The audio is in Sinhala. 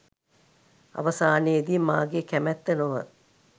අවසානයේදී මාගේ කැමැත්ත නොව